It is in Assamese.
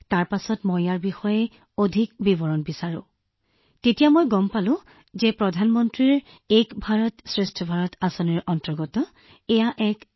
তাৰ পিছত মই ইয়াৰ বিষয়ে অধিক বিৱৰণ বিচাৰি পাইছিলো যে ঠিক এইটো কি গতিকে মই জানিব পাৰিছিলো যে এয়া হৈছে প্ৰধানমন্ত্ৰীৰ আঁচনি এক ভাৰত শ্ৰেষ্ঠ ভাৰতৰ জৰিয়তে যুৱসকলৰ একত্ৰিত হোৱা সন্মিলন